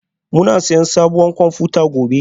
Muna siyan sabuwar kwamfuta gobe?